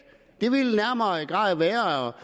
det ville nærmere være